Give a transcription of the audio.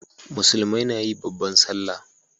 musulmai nayi babban sallah